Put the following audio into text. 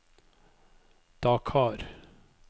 Dakar